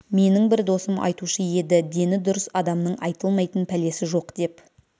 менің бір досым айтушы еді дені дұрыс адамның айтылмайтын пәлесі жоқ деп